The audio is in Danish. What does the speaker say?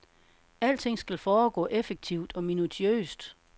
Alting skal foregå effektivt og minutiøst.